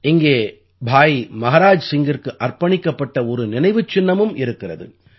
இங்கே பாய் மஹாராஜ் சிங்கிற்கு அர்ப்பணிக்கப்பட்ட ஒரு நினைவுச் சின்னமும் இருக்கிறது